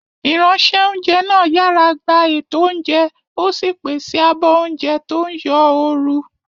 Ìránṣẹ́-oúnjẹ náà yàrá gba ètò oúnjẹ, ó sì pèsè àbọ̀ oúnjẹ tó ń yọ ooru.